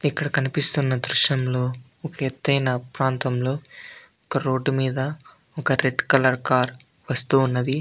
ఇక్కడ కనిపిస్తున్న దృశ్యంలో ఒక ఎత్తైన ప్రాంతంలో ఒక రోడ్డు మీద ఒక రెడ్ కలర్ కార్ వస్తూ ఉన్నది.